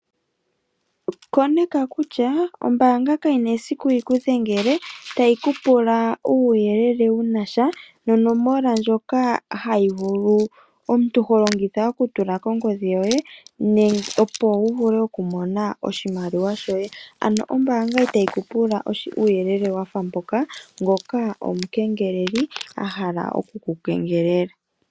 Koneka kutya ombaanga kayina esiku yikudhengele , tayi kupula uuyelele wunasha nonomola ndjoka omuntu holongitha okutula kongodhi yoye opo wuvule okumona oshimaliwa shoye, ano ombaanga itayi kupula uuyelele wafa ngoka omukengeleli ahala okukukengelela.